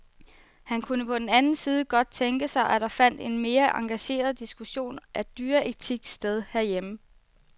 Han kunne på den anden side godt tænke sig, at der fandt en mere engageret diskussion af dyreetik sted herhjemme.